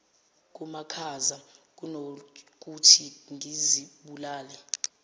kumakhaza kunokuthi ngizibulale